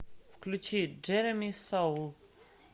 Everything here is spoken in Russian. включи джереми соул